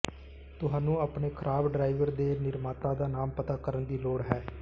ਤੁਹਾਨੂੰ ਆਪਣੇ ਖਰਾਬ ਡਰਾਈਵ ਦੇ ਨਿਰਮਾਤਾ ਦਾ ਨਾਮ ਪਤਾ ਕਰਨ ਦੀ ਲੋੜ ਹੈ